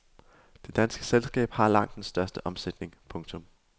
Det danske selskab har langt den største omsætning. punktum